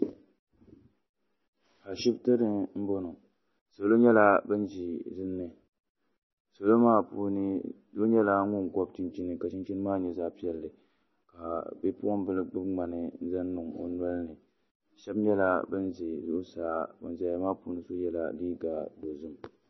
ashibiti ni m-bɔŋɔ salo nyɛla ban ʒi dinni salo maa puuni so nyɛla ŋun gɔbi chinchini ka chinchini maa nyɛ zaɣ' piɛlli ka bipuɣimbila gbubi ŋmani n zaŋ niŋ o noli ni shaba nyɛla ban za zuɣusaa ban zaya maa puuni so yela liiga dozim